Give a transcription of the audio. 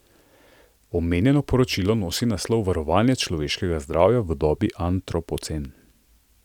Omenjeno poročilo nosi naslov Varovanje človeškega zdravja v dobi antropocen.